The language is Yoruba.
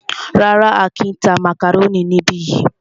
Rárá,á kìí tá màkàrónì níbi yìí.